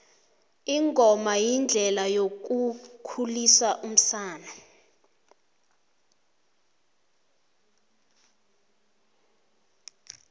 ingoma yindlela yokukhulisa umsana